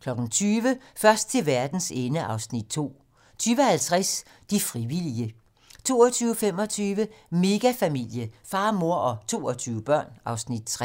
20:00: Først til verdens ende (Afs. 2) 20:50: De frivillige 22:25: Megafamilie - far, mor og 22 børn (Afs. 3)